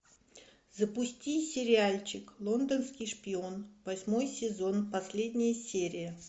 запусти сериальчик лондонский шпион восьмой сезон последняя серия